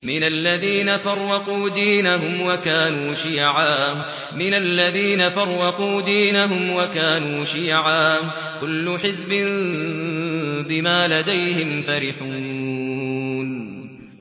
مِنَ الَّذِينَ فَرَّقُوا دِينَهُمْ وَكَانُوا شِيَعًا ۖ كُلُّ حِزْبٍ بِمَا لَدَيْهِمْ فَرِحُونَ